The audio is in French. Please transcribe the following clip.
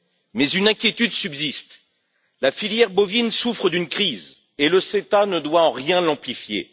Mais une inquiétude subsiste la filière bovine souffre d'une crise et le CETA ne doit en rien l'amplifier.